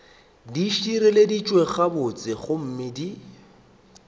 di šireleditšwe gabotse gomme di